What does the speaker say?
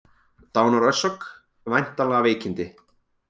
Dánarorsök væntanlega veikindi